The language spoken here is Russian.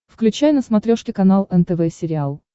включай на смотрешке канал нтв сериал